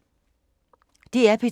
DR P2